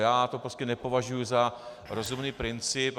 Já to prostě nepovažuji za rozumný princip.